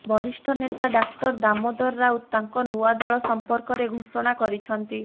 ବରିଷ୍ଠ ନେତା ଡାକ୍ତର ଦାମୋଦର ରାଉତ ତାଙ୍କ ନୂଆ ଦଳ ସମ୍ପର୍କରେ ଘୋଷଣା କରିଛନ୍ତି